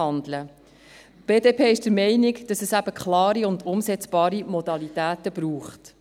Die BDP ist der Meinung, dass es eben klare und umsetzbare Modalitäten braucht.